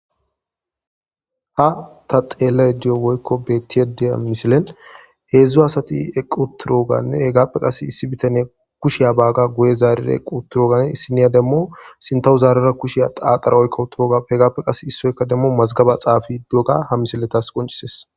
Ha ta xeellay diyo woykko bettiye deya misilen heedzdzu asati equturoganne hegappe qas issi bitaniya kushey baaga guye zaarira equ turogane issiniya demmo sintahu zaarera kusheya aaqara oykko wuturogaf hegappe qas issoyka demmo mazgaba xaafi doga ha misiletas qoncises.